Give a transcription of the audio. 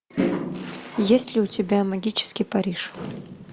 есть ли у тебя магический париж